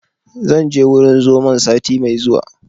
Zan je wurin zomon sati mai zuwa